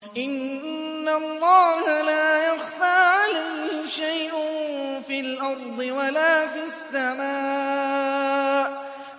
إِنَّ اللَّهَ لَا يَخْفَىٰ عَلَيْهِ شَيْءٌ فِي الْأَرْضِ وَلَا فِي السَّمَاءِ